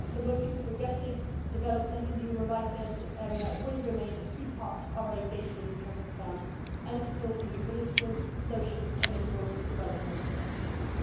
Promoting progressive development in the human rights area will remain a key part of our engagement with Kazakhstan and supporting the political, social and economic development of that country.